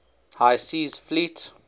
high seas fleet